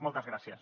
moltes gràcies